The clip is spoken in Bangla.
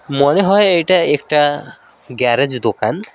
মনে হয় এটা একটা গ্যারেজ দোকান।